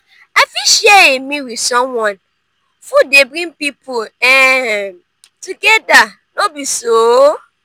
i fit share a meal with someone; food dey bring pipo um together no be so?